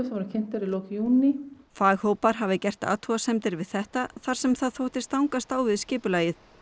voru kynntar í lok júní faghópar hafi gert athugasemdir við þetta þar sem það þótti stangast á við skipulagið